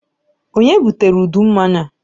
Ònye butere udu mmanya a?